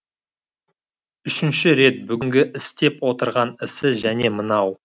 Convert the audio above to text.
үшінші рет бүгінгі істеп отырған ісі және мынау